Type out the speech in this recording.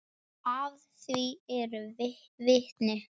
Að því eru vitni.